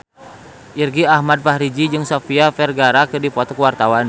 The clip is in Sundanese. Irgi Ahmad Fahrezi jeung Sofia Vergara keur dipoto ku wartawan